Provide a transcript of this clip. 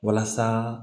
Walasa